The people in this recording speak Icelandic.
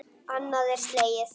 Annað er slegið.